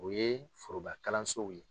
O ye forobakalansow ye.